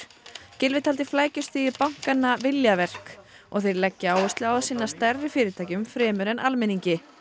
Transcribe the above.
Gylfi taldi flækjustig bankanna viljaverk og þeir leggi áherslu á að sinna stærri fyrirtækjum fremur en almenningi